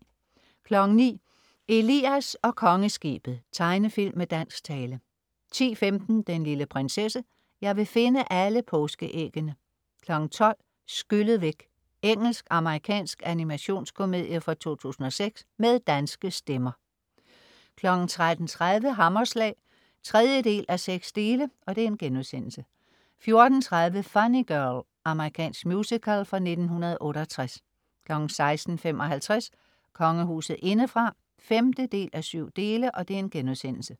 09.00 Elias og Kongeskibet. Tegnefilm med dansk tale 10.15 Den lille prinsesse. Jeg vil finde alle påskeæggene! 12.00 Skyllet væk. Engelsk, amerikansk animationskomedie fra 2006 med danske stemmer 13.30 Hammerslag 3.6* 14.30 Funny Girl. Amerikansk musical fra 1968 16.55 Kongehuset indefra 5:7*